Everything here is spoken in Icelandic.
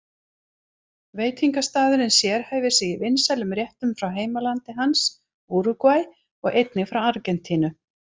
Veitingastaðurinn sérhæfir sig í vinsælum réttum frá heimalandi hans, Úrúgvæ, og einnig frá Argentínu.